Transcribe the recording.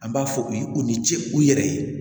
An b'a fɔ u ye u ni ce u yɛrɛ ye